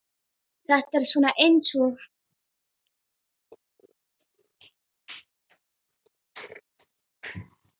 Þetta er svona eins og.